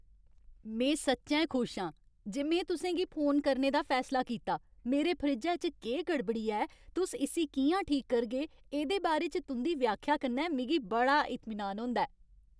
में सच्चैं खुश आं जे में तुसें गी फोन करने दा फैसला कीता, मेरे फ्रिज्जै च केह् गड़बड़ी ऐ ते तुस इस्सी कि'यां ठीक करगे, एह्दे बारे च तुं'दी व्याख्या कन्नै मिगी बड़ा इतमीनान होंदा ऐ।